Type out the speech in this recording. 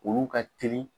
Olu ka teli